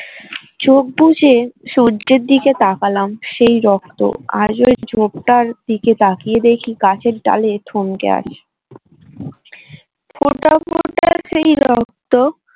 চোখ বুজে সূর্যের দিকে তাকালাম সেই রক্ত আজও ঝোপটার দিকে তাকিয়ে দেখি গাছের ডালে থমকে আছে ফোটা ফোটা সেই রক্ত